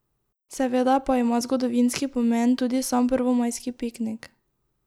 Seveda pa ima zgodovinski pomen tudi sam prvomajski piknik.